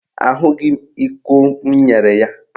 Ahụghị m iko m nyere ya.